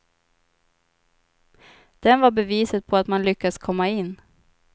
Den var beviset på att man lyckats komma in.